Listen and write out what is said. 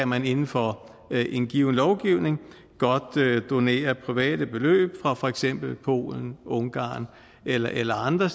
man inden for en given lovgivning godt kunne donere private beløb fra for eksempel polen ungarn eller eller andre